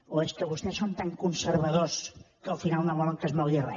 o és que vostès són tan conservadors que al final no volen que es mogui re